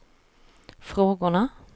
frågorna